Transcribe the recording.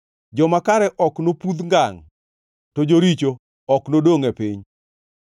Joma kare ok nopudh ngangʼ, to joricho ok nodongʼ e piny.